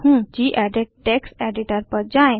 gedit text editor पर जाएँ